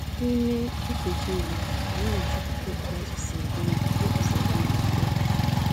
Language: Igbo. N'ime nkeji iri, anyị n'achọpụta otú azụ si eri nri iji zere iri oke nri.